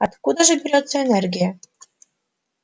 откуда же берётся энергия